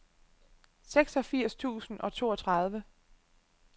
seksogfirs tusind og toogtredive